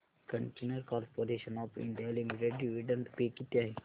container corporation of India limited dividend pay किती आहे